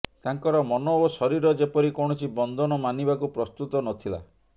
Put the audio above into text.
ତାଙ୍କର ମନ ଓ ଶରୀର ଯେପରି କୌଣସି ବନ୍ଧନ ମାନିବାକୁ ପ୍ରସ୍ତୁତ ନ ଥିଲା